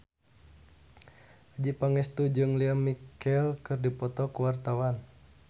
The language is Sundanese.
Adjie Pangestu jeung Lea Michele keur dipoto ku wartawan